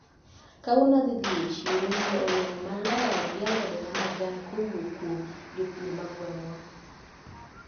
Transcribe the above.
Kawuono adhi dhi e chiro nyiewo olemo maler gi alode mamajan kowuok kuom jopur magweng`wa.